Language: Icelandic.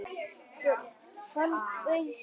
Hann bauðst ekki.